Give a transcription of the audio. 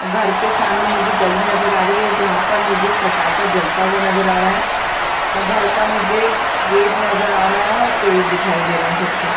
घर के सामने मुझे गली नजर आ रही है जहाँ पर मुझे फटाका जलता हुआ नजर आ रहा है और घर का मुझे गेट नजर आ रहा है और पेड़ दिखाई दे रहा है छोटे - छोटे --